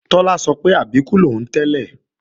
Tọ́lá sọ pé Àbíkú lòún tẹ́lẹ̀